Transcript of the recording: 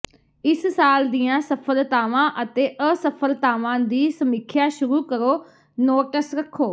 ਇਸ ਸਾਲ ਦੀਆਂ ਸਫਲਤਾਵਾਂ ਅਤੇ ਅਸਫਲਤਾਵਾਂ ਦੀ ਸਮੀਖਿਆ ਸ਼ੁਰੂ ਕਰੋ ਨੋਟਸ ਰੱਖੋ